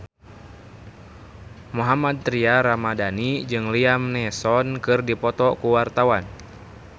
Mohammad Tria Ramadhani jeung Liam Neeson keur dipoto ku wartawan